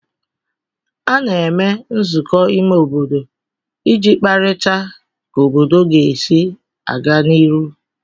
A na-eme nzụkọ ime obodo iji kparịta ka obodo ga-esi aga n'iru